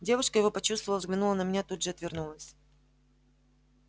девушка его почувствовала взглянула на меня тут же отвернулась